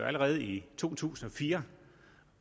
allerede i to tusind og fire